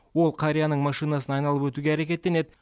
ол қарияның машинасын айналып өтуге әрекеттенеді